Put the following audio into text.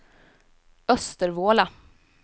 Östervåla